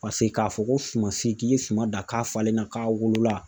Paseke k'a fɔ ko sumasi k'i ye suman dan k'a falenna k'a wolola